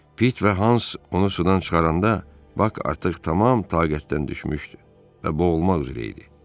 Pit və Hans onu sudan çıxaranda Bak artıq tam taqətdən düşmüşdü və boğulmaq üzrə idi.